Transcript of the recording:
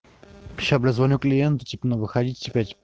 сейчас бля звоню клиенту типа ну выходите пять